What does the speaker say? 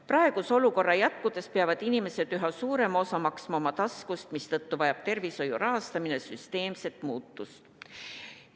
Praeguse olukorra jätkudes peavad inimesed üha suurema osa maksma oma taskust, mistõttu vajab tervishoiu rahastamine süsteemset muutust.